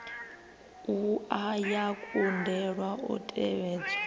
wua ya kundelwa u tevhedza